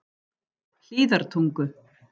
Hlíðartungu